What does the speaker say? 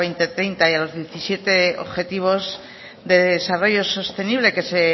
dos mil treinta y los diecisiete objetivos de desarrollo sostenible que se